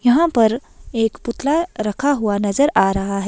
यहां पर एक पुतला रखा हुआ नजर आ रहा है।